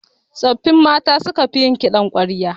Tsoffin mata su suka fi yin kiɗan ƙwarya